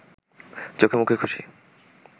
চোখেমুখে খুশি